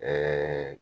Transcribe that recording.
Ɛɛ